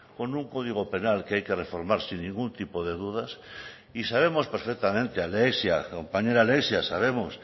con un código penal que hay que reformar sin ningún tipo de dudas y sabemos perfectamente alexia compañera alexia sabemos